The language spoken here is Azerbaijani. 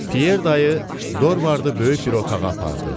Pyer dayı Dorvardı böyük bir otağa apardı.